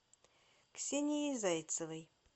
ксенией зайцевой